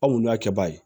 Anw y'a kɛba ye